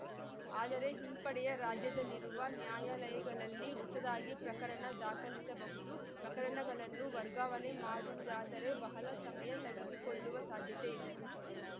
ಆದರೆ ಹಿಂಪಡೆಯ ರಾಜ್ಯದಲ್ಲಿರುವ ನ್ಯಾಯಾಲಯಗಳಲ್ಲಿ ಹೊಸದಾಗಿ ಪ್ರಕರಣ ದಾಖಲಿಸಬಹುದು ಪ್ರಕರಣಗಳನ್ನು ವರ್ಗಾವಣೆ ಮಾಡುವುದಾದರೆ ಬಹಳ ಸಮಯ ತೆಗೆದುಕೊಳ್ಳುವ ಸಾಧ್ಯತೆ ಇದೆ